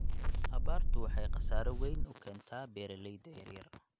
Abaartu waxay khasaare weyn u keentaa beeralayda yaryar.